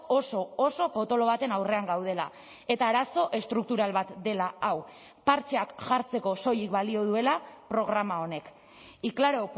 oso oso potolo baten aurrean gaudela eta arazo estruktural bat dela hau partxeak jartzeko soilik balio duela programa honek y claro